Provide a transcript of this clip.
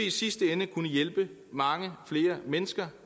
i sidste ende kunne hjælpe mange flere mennesker